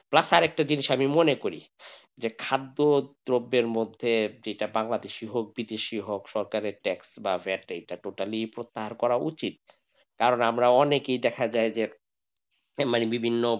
plus আর একটা জিনিস আমি মনে করি যে খাদ্য দ্রব্যের মধ্যে যেটা বাংলাদেশী হোক বিদেশিই হোক সরকারের tax বা vat এই টা totally প্রত্যাহার করা উচিত কারণ আমরা অনেকেই দেখা যায় যে এ মানে বিভিন্ন,